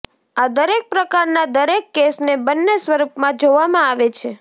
આ દરેક પ્રકારના દરેક કેસને બંને સ્વરૂપમાં જોવામાં આવે છે